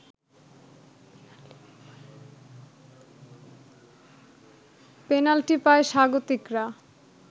penalty পায় স্বাগতিকরা